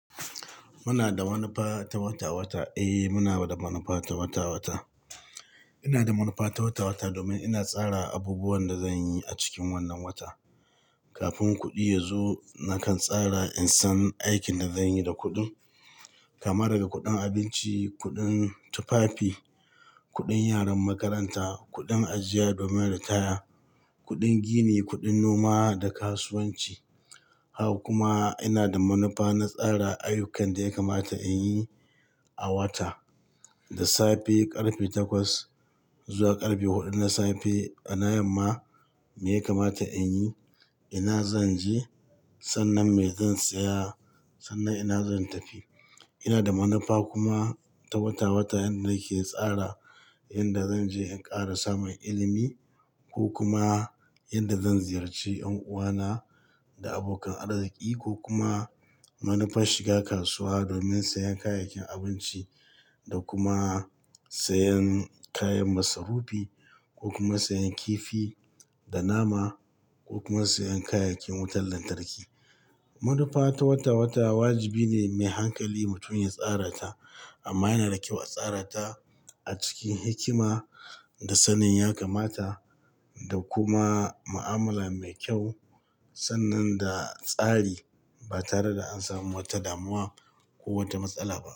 Muna da manufa ta wata-wata? Eh, muna da manufa ta wata-wata. Ina da manufa ta wata-wata domin ina tsara abubuwan da zan yi a cikin wannan wata. Kafin kuɗi ya zo, nakan tsara in san aikin da zan yi da kuɗin, kamar ga kuɗin abinci, kuɗin tufafi, kuɗin yaran makaranta, kuɗin ajiya domin ritaya, kuɗin gini, kuɗin noma da kasuwanci. Haka kuma ina da manufa na tsara ayyukan da ya kamata in yi a wata, da safe ƙarfe takwas zuwa ƙarfe huɗu na safe. Na yamma, me ya kamata in yi? Ina zan je? Sannan me zan saya? Sannan ina zan tafi? Ina da manufa kuma ta wata-wata yanda nake tsara inda zan je in ƙara samun ilimi ko kuma inda zan ziyarci 'yan uwana da abokan arziki, ko kuma manufar shiga kasuwa domin sayan kayayyakin abinci da kuma sayan kayan masarufi, ko kuma sayan kifi da nama ko kuma sayan kayayyakin wutar lantarki. Manufa ta wata-wata wajibi ne mai hankali mutum ya tsara ta, amma yana da kyau a tsara ta a cikin hikima da sanin ya kamata da kuma mu'amala mai kyau, sannan da tsari ba tare da an samu wata damuwa ko wata matsala ba.